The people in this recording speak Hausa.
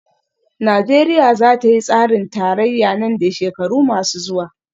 Najeriya za ta yi tsarin tarayya nan da shekaru masu zuwa